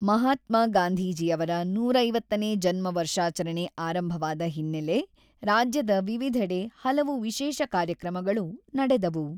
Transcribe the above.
ಮಹಾತ್ಮಾ ಗಾಂಧೀಜಿಯವರ ನೂರಾ ಐವತ್ತನೇ ಜನ್ಮ ವರ್ಷಾಚರಣೆ ಆರಂಭವಾದ ಹಿನ್ನೆಲೆ ರಾಜ್ಯದ ವಿವಿಧೆಡೆ ಹಲವು ವಿಶೇಷ ಕಾರ್ಯಕ್ರಮಗಳು ನಡೆದವು.